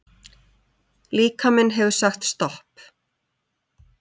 Líkaminn hefur sagt stopp